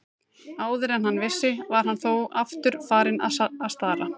Áður en hann vissi var hann þó aftur farinn að stara.